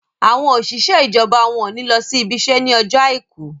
àwọn òṣìṣẹ́ ijọba wón ní ló ibise ní Ọjọ́ aìkú